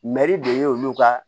Mɛri de ye olu ka